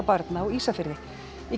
barna á Ísafirði í